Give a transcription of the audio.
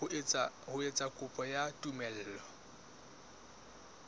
ho etsa kopo ya tumello